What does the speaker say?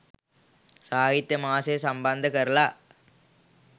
සාහිත්‍ය මාසය සම්බන්ධ කරලා